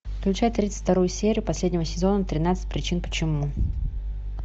включай тридцать вторую серию последнего сезона тринадцать причин почему